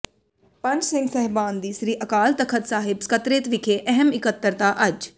ਪੰਜ ਸਿੰਘ ਸਾਹਿਬਾਨ ਦੀ ਸ੍ਰੀ ਅਕਾਲ ਤਖ਼ਤ ਸਾਹਿਬ ਸਕੱਤਰੇਤ ਵਿਖੇ ਅਹਿਮ ਇਕੱਤਰਤਾ ਅੱਜ